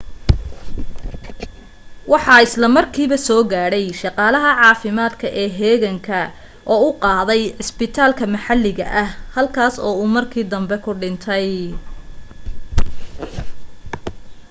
waxa isla markiiba soo gaadhay shaqaalaha caafimaadka ee heeganka oo u qaaday cusbitaal maxalli ah halkaas oo uu markii danbe ku dhintay